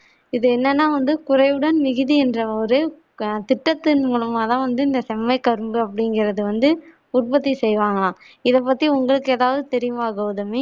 இது என்னன்னா வந்து குறைவுடன் மிகுதி என்ற ஒரு ஆஹ் திட்டத்தின் மூலமா தான் வந்து இந்த செம்மை கரும்பு அப்பிடிங்குறது வந்து உற்பத்தி செய்வாங்களாம் இத பத்தி உங்களுக்கு எதாவது தெரியுமா கவுதமி